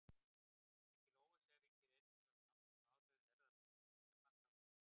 Mikil óvissa ríkir einnig um langtímaáhrif erfðabreyttra nytjaplantna á umhverfið.